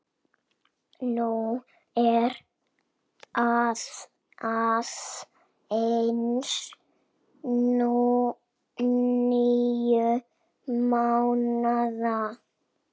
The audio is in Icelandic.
Hún er aðeins níu mánaða.